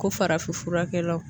Ko farafin furakɛlaw